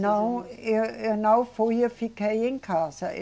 Não, eu, eu não fui, eu fiquei em casa.